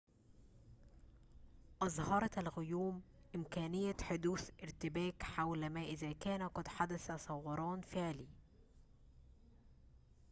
أظهرت الغيوم إمكانية حدوث ارتباك حول ما إذا كان قد حدث ثوران فعلي